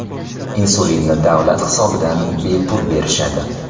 Insulinni davlat hisobidan bepul berishadi.